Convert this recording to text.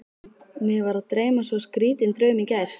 Mig var að dreyma svo skrýtinn draum í gær.